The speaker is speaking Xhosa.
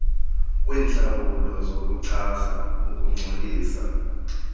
kwentlawulo zokuchasa ukungcolisa